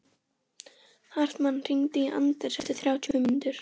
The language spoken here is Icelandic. Yfirþyrmd af því sem gæti gerst.